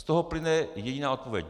Z toho plyne jediná odpověď.